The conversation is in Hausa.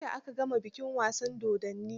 Juya aka gama bikin wasan dodonin.